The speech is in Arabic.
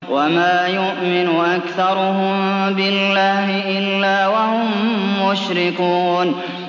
وَمَا يُؤْمِنُ أَكْثَرُهُم بِاللَّهِ إِلَّا وَهُم مُّشْرِكُونَ